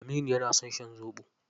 Aminu yana son shan zoɓo.